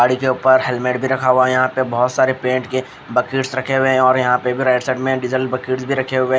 गाड़ी के ऊपर हेलमेट भी रखा हुआ है यहां पे बहोत सारे पेंट के बकिट्स रखे हुए है और यहां पे भी राइट साइड में डीजल बकिट्स भी रखे हुए है।